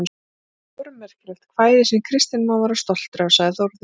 Þetta er stórmerkilegt kvæði, sem Kristinn má vera stoltur af, sagði Þórður.